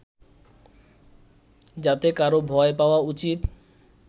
যাতে কারো ভয় পাওয়া উচিত